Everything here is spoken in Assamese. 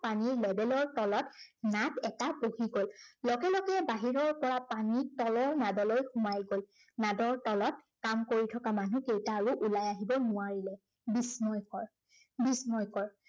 পানীৰ level ৰ তলত নাদ এটা বহি গল। লগে লগে বাহিৰৰ পৰা পানী তলৰ নাদলৈ সোমাই গল। নাদৰ তলত কাম কৰি থকা মানুহকেইটা আৰু ওলাই আহিব নোৱাৰিলে। বিস্ময়কৰ, বিস্ময়কৰ